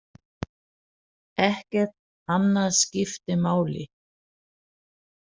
Ekkert annað skipti máli.